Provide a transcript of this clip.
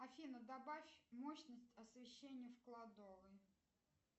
афина добавь мощность освещения в кладовой